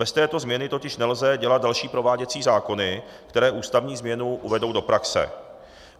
Bez této změny totiž nelze dělat další prováděcí zákony, které ústavní změnu uvedou do praxe.